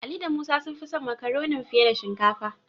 Ali da Musa sun fi son Makaronin fiye da shinkafa.